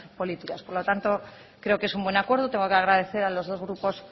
políticas por lo tanto creo que es un buen acuerdo tengo que agradecer a los dos grupos